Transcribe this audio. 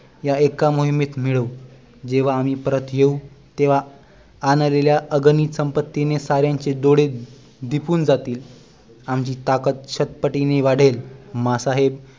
या एका मोहिमेत मिळवू जेव्हा आम्ही परत येऊ तेंव्हा आणलेल्या अगणित संपत्तीने साऱ्यांचे डोळे दिपून जातील आमची ताकद शतपटीने वाढेल माँ साहेब